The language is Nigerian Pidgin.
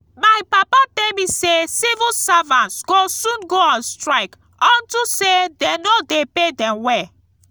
my papa tell me say civil servants go soon go on strike unto say dey no dey pay dem well